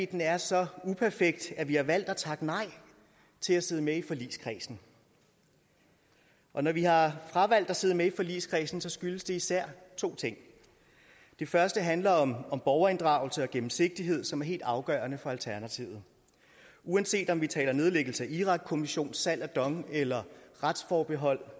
den er så uperfekt at vi har valgt at takke nej til at sidde med i forligskredsen når vi har fravalgt at sidde med i forligskredsen skyldes det især to ting den første handler om borgerinddragelse og gennemsigtighed som er helt afgørende for alternativet uanset om vi taler om nedlæggelse af irakkommissionen salg af dong eller retsforbehold